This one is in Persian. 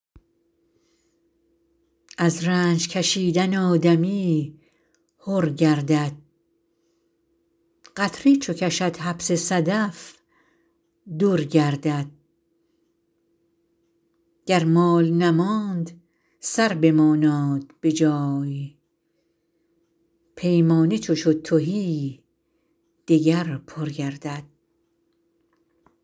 از رنج کشیدن آدمی حر گردد قطره چو کشد حبس صدف در گردد گر مال نماند سر بماناد به جای پیمانه چو شد تهی دگر پر گردد